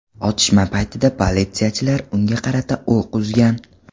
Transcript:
Otishma paytida politsiyachilar unga qarata o‘q uzgan.